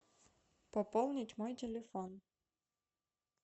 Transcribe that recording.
пополнить мой телефон